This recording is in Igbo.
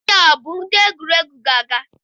Ndị a bụ ndị egwuregwu ga-aga?